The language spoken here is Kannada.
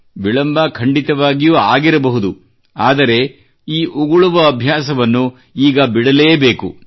ವಿಳಂಬ ಖಂಡಿತವಾಗಿಯೂ ಆಗಿರಬಹುದು ಆದರೆ ಈ ಉಗುಳುವ ಅಭ್ಯಾಸವನ್ನು ಈಗ ಬಿಡಲೇ ಬೇಕು